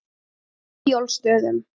Eyjólfsstöðum